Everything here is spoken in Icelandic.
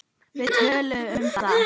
Við töluðum um það.